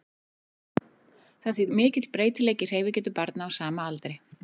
Það er því mikill breytileiki í hreyfigetu barna á sama aldri.